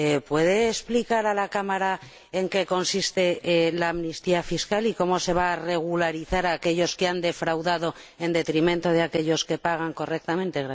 ¿Puede explicar a la Cámara en qué consiste la amnistía fiscal y cómo se va a regularizar a aquellos que han defraudado, en detrimento de aquellos que pagan correctamente?